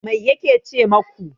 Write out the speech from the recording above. Mai yake ce maku?